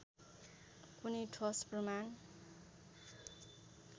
कुनै ठोस प्रमाण